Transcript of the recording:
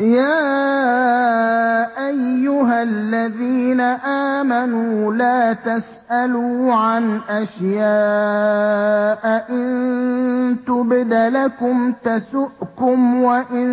يَا أَيُّهَا الَّذِينَ آمَنُوا لَا تَسْأَلُوا عَنْ أَشْيَاءَ إِن تُبْدَ لَكُمْ تَسُؤْكُمْ وَإِن